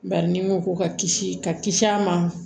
Bari ni mugu ko ka kisi ka kisi a ma